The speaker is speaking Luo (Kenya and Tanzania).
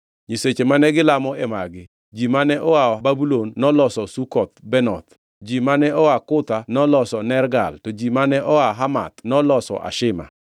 Nyiseche mane gilamo e magi: Ji mane oa Babulon noloso Sukoth-Benoth, ji mane oa Kutha noloso Nergal to ji mane oa Hamath noloso Ashima;